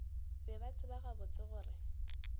be ba tseba gabotse gore